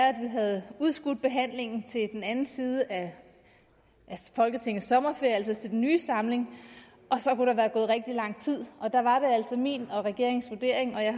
at vi havde udskudt behandlingen til den anden side af folketingets sommerferie altså til den nye samling og så kunne der være gået rigtig lang tid der var det altså min og regeringens vurdering jeg